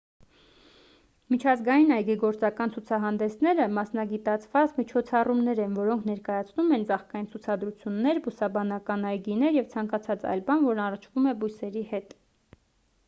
միջազգային այգեգործական ցուցահանդեսները մասնագիտացված միջոցառումներ են որոնք ներկայացնում են ծաղկային ցուցադրություններ բուսաբանական այգիներ և ցանկացած այլ բան որն առնչվում է բույսերի հետ